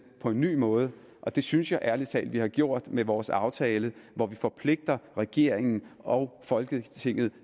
på en ny måde og det synes jeg ærlig talt at vi har gjort med vores aftale hvor vi forpligter regeringen og folketinget